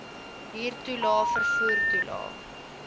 huurtoelae vervoer toelae